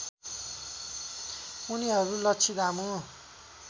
उनिहरू लछि दामु